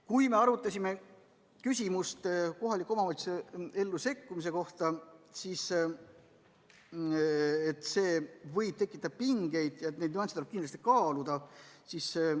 Kui me arutasime kohaliku omavalitsuse ellu sekkumise küsimust, siis arvati, et see võib tekitada pingeid ja neid nüansse tuleb kindlasti kaaluda.